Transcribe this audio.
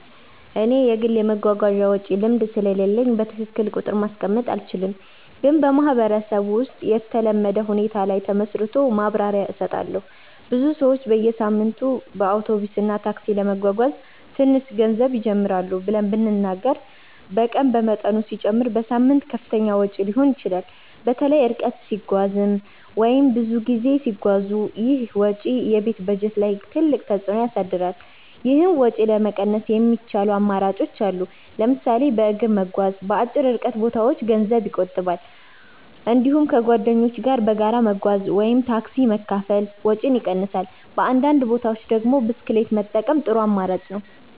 እኔ የግል የመጓጓዣ ወጪ ልምድ ስለሌለኝ በትክክል እስቲ ቁጥር ማስቀመጥ አልችልም፣ ግን በማህበረሰብ ውስጥ የተለመደ ሁኔታ ላይ ተመስርቶ ማብራሪያ እሰጣለሁ። ብዙ ሰዎች በየሳምንቱ በአውቶቡስ እና ታክሲ ለመጓጓዝ ትንሽ ገንዘብ ይጀምራሉ ብለን ብንናገር በቀን በመጠኑ ሲጨመር በሳምንት ከፍተኛ ወጪ ሊሆን ይችላል። በተለይ ርቀት ሲረዝም ወይም ብዙ ጊዜ ሲጓዙ ይህ ወጪ የቤት በጀት ላይ ትልቅ ተፅዕኖ ያሳድራል። ይህን ወጪ ለመቀነስ የሚቻሉ አማራጮች አሉ። ለምሳሌ በእግር መጓዝ በአጭር ርቀት ቦታዎች ገንዘብ ይቆጥባል። እንዲሁም ከጓደኞች ጋር በጋራ መጓጓዝ (car pooling ወይም ታክሲ መካፈል) ወጪን ይቀንሳል። በአንዳንድ ቦታዎች ደግሞ ብስክሌት መጠቀም ጥሩ አማራጭ ነው።